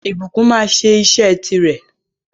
Ìbùkún máa sẹ́ isẹ́ ti rè